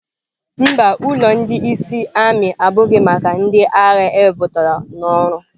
Mba, ulọ ndị ịsị ami abụghị maka ndị agha ewepụtara n'ọrụ.